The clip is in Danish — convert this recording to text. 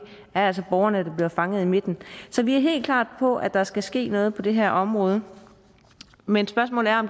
er altså borgerne der bliver fanget i midten så vi er helt klar på at der skal ske noget på det her område men spørgsmålet er om